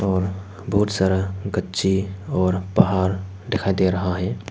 और बहुत सारा गच्छे और पहाड़ दिखाई दे रहा है।